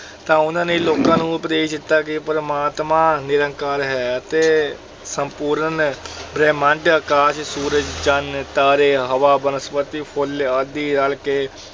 ਤਾਂ ਉਹਨਾਂ ਨੇ ਲੋਕਾਂ ਨੂੰ ਉਪਦੇਸ਼ ਦਿੱਤਾ ਕਿ ਪਰਮਾਤਮਾ ਨਿਰੰਕਾਰ ਹੈ ਅਤੇ ਸੰਪੂਰਨ ਬ੍ਰਹਿਮੰਡ, ਅਕਾਸ਼, ਸੂਰਜ, ਚੰਨ, ਤਾਰੇ, ਹਵਾ, ਬਨਸਪਤੀ, ਫੁੱਲ ਆਦਿ ਰਲ ਕੇ